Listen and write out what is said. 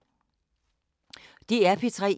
DR P3